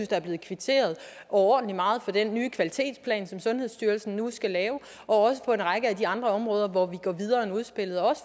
der er blevet kvitteret overordentlig meget for den nye kvalitetsplan som sundhedsstyrelsen nu skal lave også for en række af de andre områder hvor vi går videre end udspillet og